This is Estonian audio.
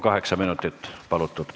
Kaheksa minutit on palutud.